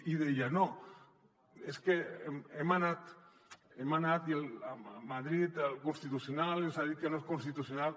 i deia no és que hem anat a madrid al constitucional ens ha dit que no és constitucional